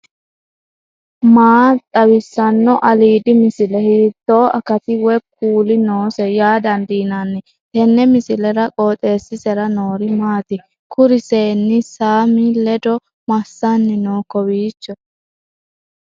maa xawissanno aliidi misile ? hiitto akati woy kuuli noose yaa dandiinanni tenne misilera? qooxeessisera noori maati ? kuri seenni saaami ledo massanni no kowiicho